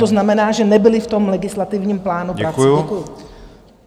To znamená, že nebyly v tom legislativním plánu prací.